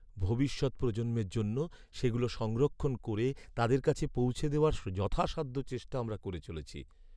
ভবিষ্যৎ প্রজন্মের জন্য সেগুলো সংরক্ষণ করে তাদের কাছে পৌঁছে দেওয়ার যথাসাধ্য চেষ্টা আমরা করে চলেছি।